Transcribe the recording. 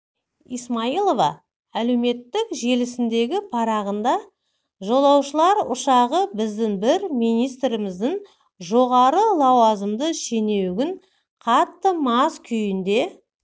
исмаилова әлеуметтік желісіндегі парағында жолаушылар ұшағы біздің бір министрлігіміздің жоғары лауазымды шенеунігін қатты мас күйінде